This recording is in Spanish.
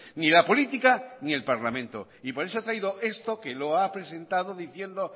ni la política ni el parlamento y por eso ha traído esto que lo ha presentado diciendo